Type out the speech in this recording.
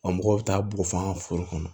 A mɔgɔw bɛ taa bugɔ fɔ an ka foro kɔnɔ